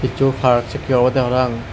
zoo park sekkey obodey parapang.